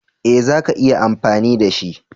Ee za ka iya amfani da shi.